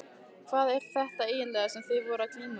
Hvað er þetta eiginlega sem þið eruð að glíma við?